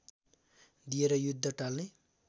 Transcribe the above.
दिएर युद्ध टाल्ने